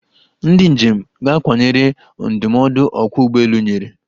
Ndi njem ga-akwanyere ndụmọdụ ọkwa ụgbọelu nyere.